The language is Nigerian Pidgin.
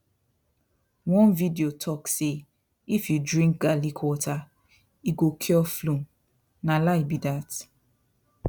one video talk say if you drink garlic water e go cure flu na lie be that